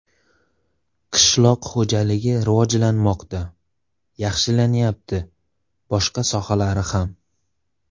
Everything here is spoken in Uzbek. Qishloq xo‘jaligi rivojlanmoqda, yaxshilanyapti, boshqa sohalari ham.